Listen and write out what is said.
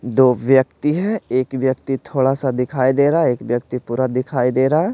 दो व्यक्ति हैं एक व्यक्ति थोड़ा-सा दिखाई दे रहा है एक व्यक्ति पूरा दिखाई दे रहा है।